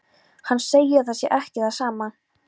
Hann segir að það sé ekki það sama.